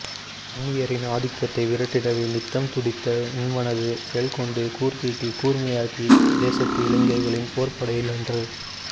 அந்நியரின் ஆதிக்கத்தை விரட்டிடவே நித்தம் துடித்த உன்மனது செயல்கொண்டு கூர்தீட்டி கூர்மையாக்கிய தேசத்து இளைஞர்களின் போர்ப்படையில் அன்று